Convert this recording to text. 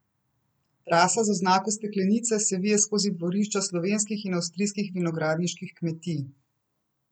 Trasa z oznako steklenice se vije skozi dvorišča slovenskih in avstrijskih vinogradniških kmetij.